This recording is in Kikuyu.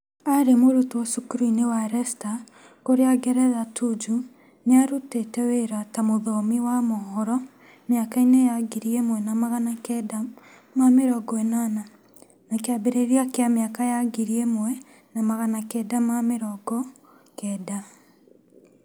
Arĩ mũrutwo cukuru-ini wa Resta kũria ngeretha Tuju nĩ aarutĩte wĩra ta mũthomi wa mohoro mĩaka-ini ya ngiri ĩmwe na magana kenda ma mirongo ĩnana na kĩambĩrĩria kĩa mĩaka ya ngiri ĩmwe na magana kenda ma mirongo kenda.